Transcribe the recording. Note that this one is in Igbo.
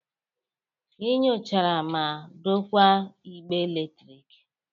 Ị nyochara ma dokwaa igbe eletrik.